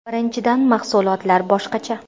Birinchidan, mahsulotlar boshqacha.